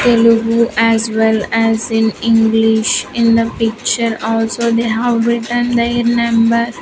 telugu as well as in english in the picture also they have written their number.